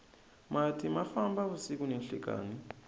mati ma famba vusiku ni nhlekani